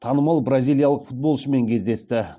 танымал бразилиялық футболшымен кездесті